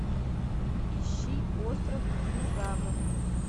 ищи остров динозавров